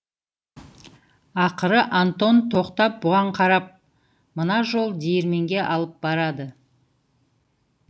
ақыры антон тоқтап бұған қарап мына жол диірменге алып барады